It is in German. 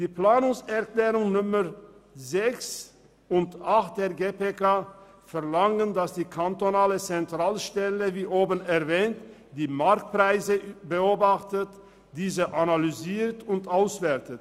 Die Planungserklärungen 6 und 8 der GPK verlangen, dass die kantonale Zentralstelle die Marktpreise beobachtet, analysiert und auswertet.